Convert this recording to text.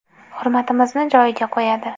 Hurmatimizni joyiga qo‘yadi.